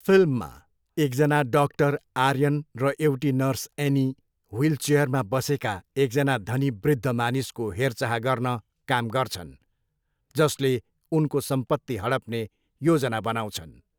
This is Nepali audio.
फिल्ममा, एकजना डाक्टर आर्यन र एउटी नर्स एनी, ह्विलचेयरमा बसेका एकजना धनी वृद्ध मानिसको हेरचाह गर्न काम गर्छन्, जसले उनको सम्पत्ति हडप्ने योजना बनाउँछन्।